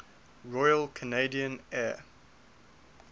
royal canadian air